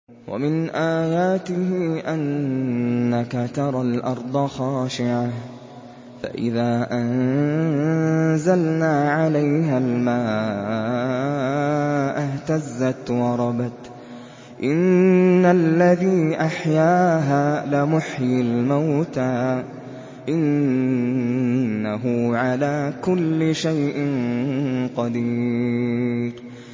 وَمِنْ آيَاتِهِ أَنَّكَ تَرَى الْأَرْضَ خَاشِعَةً فَإِذَا أَنزَلْنَا عَلَيْهَا الْمَاءَ اهْتَزَّتْ وَرَبَتْ ۚ إِنَّ الَّذِي أَحْيَاهَا لَمُحْيِي الْمَوْتَىٰ ۚ إِنَّهُ عَلَىٰ كُلِّ شَيْءٍ قَدِيرٌ